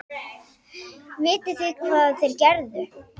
Vitið þið hvað þeir gerðu?